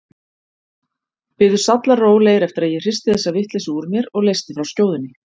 Biðu sallarólegir eftir að ég hristi þessa vitleysu úr mér og leysti frá skjóðunni.